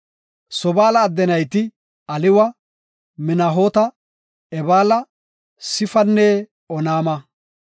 Sobaala adde nayti Aliwa, Manahoota, Ebaala, Sifanne Onaama.